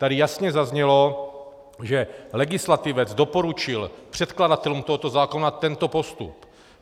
Tady jasně zaznělo, že legislativec doporučil předkladatelům tohoto zákona tento postup.